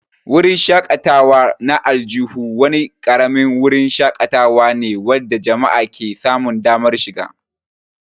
Wurin shakatawa na aljihu wani ƙaramin wurin shakatawa ne wanda jama'a ke samun damar shiga.